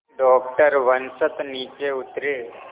doctor Vasant नीचे उतरे